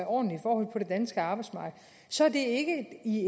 ordentlige forhold på det danske arbejdsmarked så er det ikke